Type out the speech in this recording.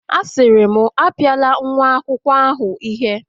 Asiri m, Apiala nwa akwukwo ahu ihe